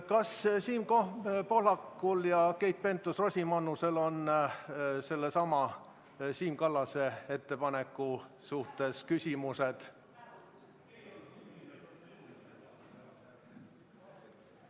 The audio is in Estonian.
Kas Siim Pohlakul ja Keit Pentus-Rosimannusel on sellesama Siim Kallase ettepaneku kohta küsimus?